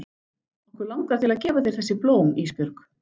Okkur langar til að gefa þér þessi blóm Ísbjörg.